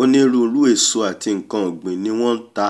onírúirú èso àti nkan ọ̀gbìn ni wọ́n nta